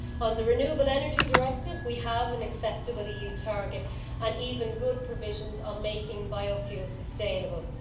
On the Renewable Energy Directive we have an acceptable EU target and even good provisions on making biofuel sustainable.